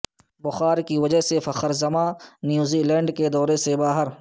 بخار کی وجہ سے فخرزمان نیوزی لینڈ دورے سے باہر